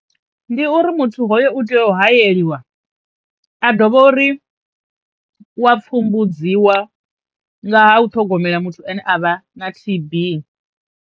Ndi uri muthu hoyo u tea u hayeliwa a dovha uri u wa pfhumbudziwa nga ha u ṱhogomela muthu ane a vha na T_B.